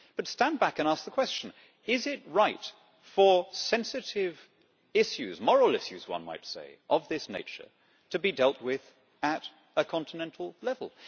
But stand back and ask the question is it right for sensitive issues moral issues, one might say of this nature to be dealt with at a continental level?